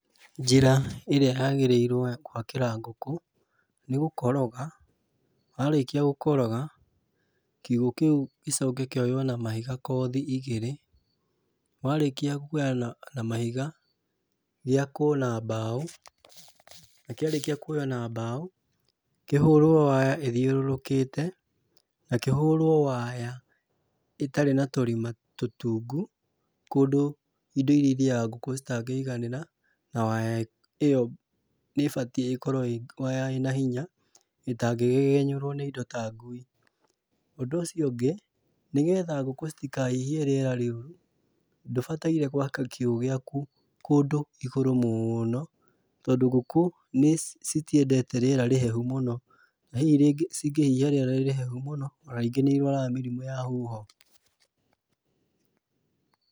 Njĩra ĩrĩa yaagĩrĩirwo ya gwakĩra ngũkũ nĩ gũkoroga, warĩkia gũkoroga, kiugũ kĩu gĩcoke kioywo na mahiga kothi igĩrĩ. Warĩkia kuoya na mahiga, gĩakwo na mbao na kĩarĩkia kuoywo na mbao, kĩhorwo waya ithiũrũrũkĩte na kĩhorwo waya ĩtarĩ na tũrima tũtungu kũndũ indo irĩthiaga ngũkũ citagĩiganĩra na waya ĩyo nĩ ibatie ĩkorwo ĩ waya ĩ na hinya ĩtagĩgegenyerwo nĩ indo ta ngui. ũndũ ũcio ũngĩ, nĩgetha ngũkũ citikahihie rĩera rĩũru, ndũbataraire gwaka kiugo gĩaku kũndũ igũrũ mũũno, tondo ngũkũ citiendete rĩera rĩhehu mũno, hihi cingĩhihia rĩera rĩ rĩhehu mũno ona ingĩ nĩ irwaraga mĩrimũ ya huho.